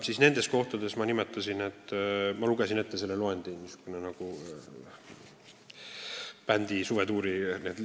Ma lugesin teile selle nimekirja ette, see kõlab nagu mõne bändi suvetuuri tutvustus.